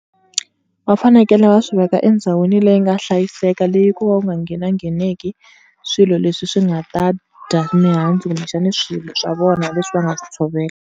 Va fanekele va swi veka endhawini leyi nga hlayiseka leyi ko va ku nga nghena ngheneki swilo leswi swi nga ta dya mihandzu kumbexani swilo swa vona leswi va nga swi tshovela.